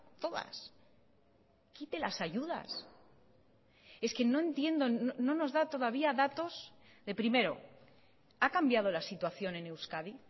todas quite las ayudas es que no entiendo no nos da todavía datos de primero ha cambiado la situación en euskadi